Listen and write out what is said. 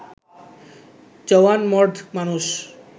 জওয়ান মর্দ মানুষ